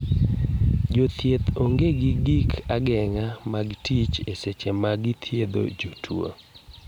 Jothieth onge gi gi gik agenga mag tich e seche magi dhiedho jo tuo.